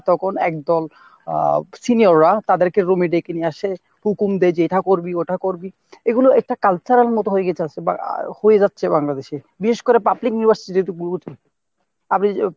তখন একদল আহ senior রা তাদেরকে room এ ডেকে নিয়ে আসে হুকুম দেয় যে এটা করবি ওটা করবি এগুলো একটা culture এর মতো হয়ে গিয়েছে বা হয়ে যাচ্ছে বাংলাদেশে। বিশেষ করে public university একটু আপনি।